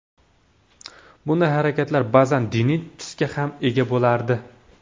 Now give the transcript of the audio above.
Bunday harakatlar ba’zan diniy tusga ham ega bo‘lardi.